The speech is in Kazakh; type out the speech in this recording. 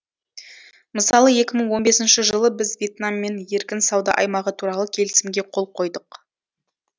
мысалы екі мың он бесінші жылы біз вьетнаммен еркін сауда аймағы туралы келісімге қол қойдық